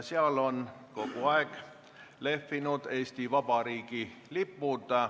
Seal on kogu aeg lehvinud Eesti Vabariigi lipud.